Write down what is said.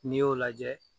N'i y'o lajɛ